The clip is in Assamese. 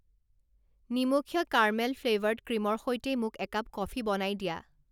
নিমখীয়া কাৰমেল ফ্লেভাৰ্ড ক্ৰীমৰ সৈতে মোক একাপ কফি বনাই দিয়া